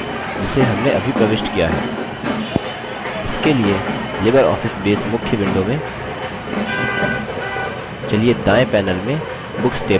इसके लिए libreoffice base मुख्य window में चलिए दायें panel में books table पर double click करते हैं